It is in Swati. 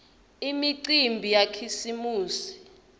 imicimbi yakhisimusi